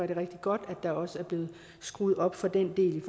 det rigtig godt at der også er blevet skruet op for den del